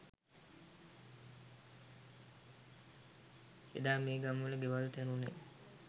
එදා මේ ගම්වල ගෙවල් තැනුනේ